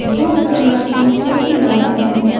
जो के साय चौकीदार हैं ।